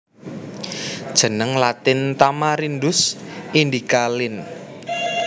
Jeneng Latin Tamarindus indica Linn